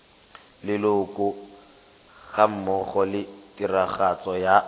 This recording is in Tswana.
leloko gammogo le tiragatso ya